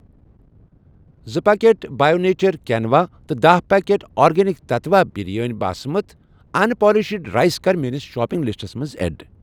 زٕ packet by nature quinoa تہٕ دہہ packet organic Tattva biryani basmati unpolished rice کَر میٲنِس شاپنگ لسٹَس منٛز ایڈ۔